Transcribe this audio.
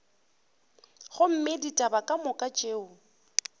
gomme ditaba ka moka tšeo